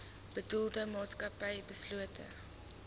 bedoelde maatskappy beslote